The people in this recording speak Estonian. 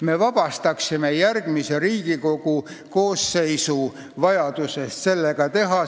Me vabastaksime järgmise Riigikogu koosseisu vajadusest seda teha.